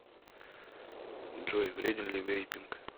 джой вреден ли вейпинг